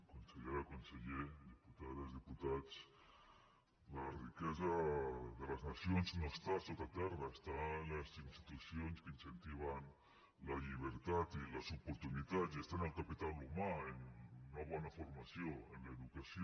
consellera conseller diputades diputats la riquesa de les nacions no està sota terra està en les institucions que incentiven la llibertat i les oportunitats i està en el capital humà en una bona formació en l’educació